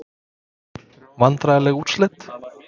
Vandræðaleg úrslit?